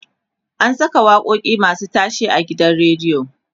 ana Saka waƙoƙi masu tashe a gidan radio